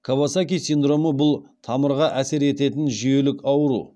кавасаки синдромы бұл тамырға әсер ететін жүйелік ауру